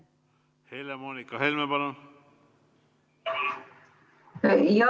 Helle-Moonika Helme, palun!